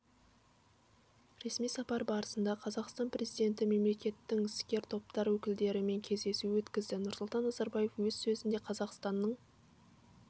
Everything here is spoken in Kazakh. ресми сапар барысында қазақстан президенті мемлекеттің іскер топтар өкілдерімен кездесу өткізді нұрсұлтан назарбаев өз сөзінде қазақстанның